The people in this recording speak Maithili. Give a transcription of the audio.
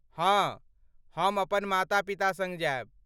हाँ, हम अपन माता पिता सङ्ग जायब।